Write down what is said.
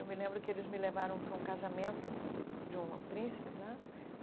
Eu me lembro que eles me levaram para um casamento de um príncipe lá.